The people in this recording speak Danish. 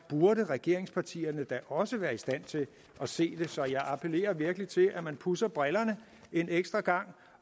burde regeringspartierne jo også være i stand til at se det så jeg appellerer virkelig til at man pudser brillerne en ekstra gang